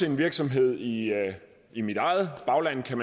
en virksomhed i i mit eget bagland